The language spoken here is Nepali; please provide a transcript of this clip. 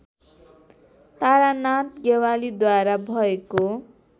तारानाथ ज्ञवालीद्वारा भएको